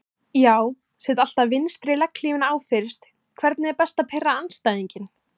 Já set alltaf vinstri legghlífina á fyrst Hvernig er best að pirra andstæðinginn?